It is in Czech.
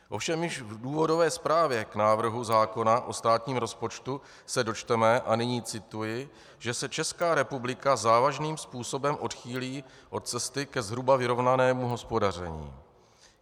Ovšem již v důvodové zprávě k návrhu zákona o státním rozpočtu se dočteme, a nyní cituji, že se Česká republika závažným způsobem odchýlí od cesty ke zhruba vyrovnanému hospodaření.